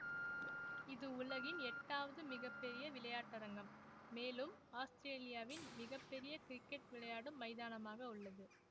இது உலகின் எட்டாவது மிக பெரிய விளையாட்டரங்கம் மெலும் ஆஸ்திரேலியாவின் மிக பெரிய கிரிக்கெட் விளையாடும் மைதானமாக உள்ளது